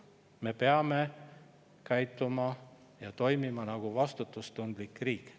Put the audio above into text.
Me peame käituma ja toimima nagu vastutustundlik riik.